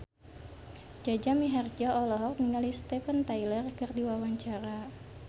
Jaja Mihardja olohok ningali Steven Tyler keur diwawancara